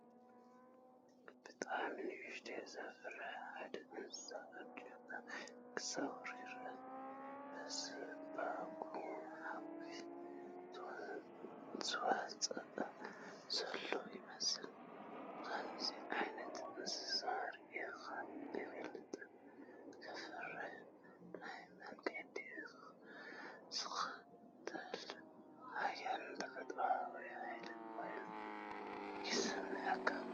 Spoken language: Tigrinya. ብጣዕሚ ንኽትሪኦ ዘፍርሕ ሓደ እንስሳ ኣብቲ ጫካ ክዘውር ይረአ። ብዝባጉ ሓዊ ዝወፅእ ዘሎ ይመስል ከምዚ ዓይነት እንስሳ ሪኤኳ ኣይፈልጥን....ከፍርሕ... ናቱ መንገዲ ዝኽተል ሓያልን ተፈጥሮኣዊን ሓይሊ ኮይኑ ይስምዓካ።